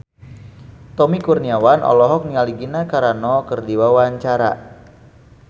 Tommy Kurniawan olohok ningali Gina Carano keur diwawancara